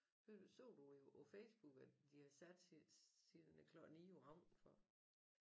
Ved du så du jo på Facebook at de har siddet siden æ klokken 9 om aftenen for